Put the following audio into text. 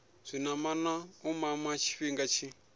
zwinamana u mama tshifhinga tshi